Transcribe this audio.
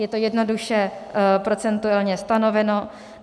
Je to jednoduše procentuálně stanoveno.